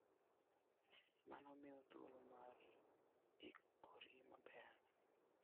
Mano miyi thuolo mar ikori maber.